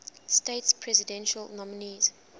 states presidential nominees